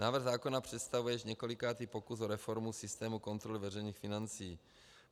Návrh zákona představuje již několikátý pokus o reformu systému kontroly veřejných financí.